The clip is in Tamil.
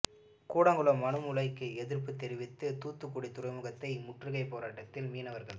கூடங்குளம் அணு உலைக்கு எதிர்ப்புத் தெரிவித்து தூத்துக்குடி துறைமுகத்தை முற்றுகை போராட்டத்தில் மீனவர்கள்